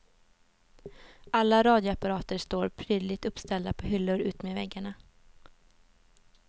Alla radioapparater står prydligt uppställda på hyllor utmed väggarna.